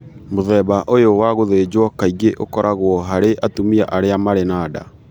Mũthemba ũyũ wa gũthĩnjwo kaingĩ ũkoragwo harĩ atumia arĩa marĩ na nda.